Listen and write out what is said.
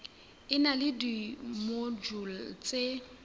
e na le dimojule tse